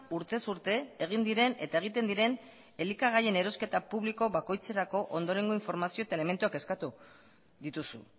urtez urte egin diren eta egiten diren elikagaien erosketa publiko bakoitzerako ondorengo informazio eta elementuak eskatu dituzu